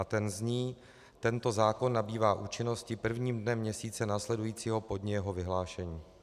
A ten zní: Tento zákon nabývá účinnosti prvním dnem měsíce následujícího po dni jeho vyhlášení.